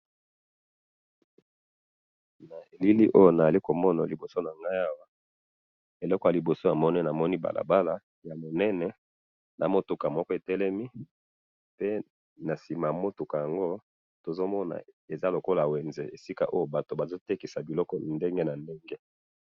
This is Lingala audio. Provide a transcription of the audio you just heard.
Na elili oyo nazali komona liboso na ngai awa, eloko ya liboso namoni, namoni balabala ya monene na mutuka moko etelemi, pe na sima ya mutuka yango tozomona eza lokola wenze esika oyo bato bazo tekisa biloko ndenge na ndenge